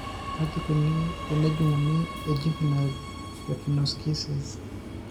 Kaji eikoni tenejung'uni ejuvenile retinoschisis?